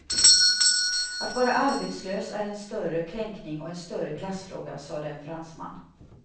Att vara arbetslös är en större kränkning och en större klassfråga, sade en fransman.